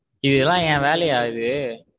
இது எல்லாம் என் வேலையா இது.